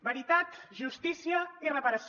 veritat justícia i reparació